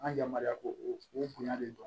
An ka yamaruya ko o bonya de don